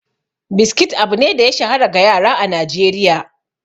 Biskit abu ne da ya shahara ga yara a Najeriya.